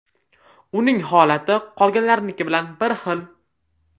Uning holati qolganlarniki bilan bir xil.